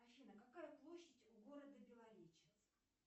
афина какая площадь у города белореченск